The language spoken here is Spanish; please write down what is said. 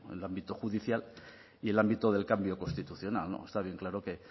el ámbito judicial y el ámbito del cambio constitucional está bien claro que